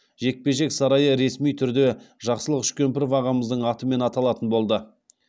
жекпе жек сарайы ресми түрде жақсылық үшкемпіров ағамыздың атымен аталатын болды